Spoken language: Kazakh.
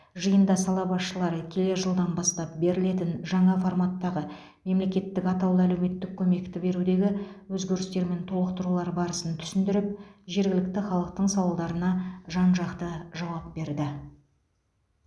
жиында сала басшылары келер жылдан бастап берілетін жаңа форматтағы мемлекеттік атаулы әлеуметтік көмекті берудегі өзгерістер мен толықтырулар барысын түсіндіріп жергілікті халықтың сауалдарына жан жақты жауап берді